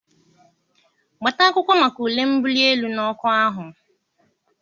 Gbata akwụkwọ maka ule mbuli elu n'ọkwa ahụ!